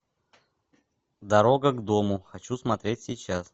дорога к дому хочу смотреть сейчас